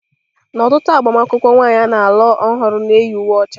N'ọtụtụ agbamakwụkwọ, nwanyị a na-alụ ọhụrụ na-eyi uwe ọcha.